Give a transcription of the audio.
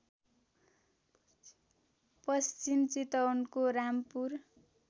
पश्चिम चितवनको रामपुर